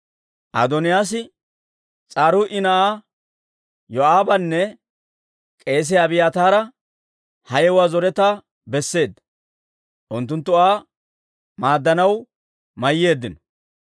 Adooniyaas S'aruuyi na'aa Yoo'aabanne k'eesiyaa Abiyaataara ha yewuwaa zoretaa besseedda; unttunttu Aa maaddanaw mayyeeddino.